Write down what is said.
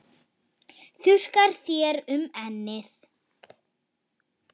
Þurrkar þér um ennið.